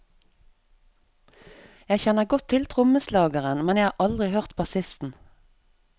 Jeg kjenner godt til trommeslageren, men har aldri hørt bassisten.